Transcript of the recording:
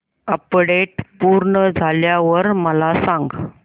update पूर्ण झाल्यावर मला सांग